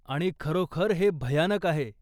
आणि खरोखर हे भयानक आहे.